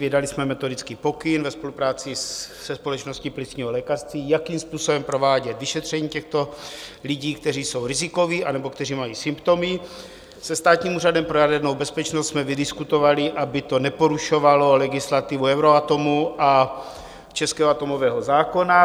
Vydali jsme metodický pokyn ve spolupráci se Společností plicního lékařství, jakým způsobem provádět vyšetření těchto lidí, kteří jsou rizikoví anebo kteří mají symptomy, se Státním úřadem pro jadernou bezpečnost jsme vydiskutovali, aby to neporušovalo legislativu Euratomu a českého atomového zákona.